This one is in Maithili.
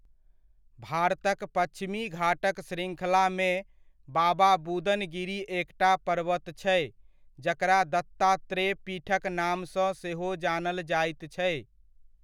भारतक पच्छिमी घाटक श्रृङ्खलामे बाबा बुदन गिरि एकटा पर्वत छै, जकरा दत्तात्रेय पीठक नामसँ सेहो जानल जाइत छै।